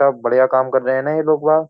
सब बढ़िया काम कर रहे हैं ना यह लोग बाग।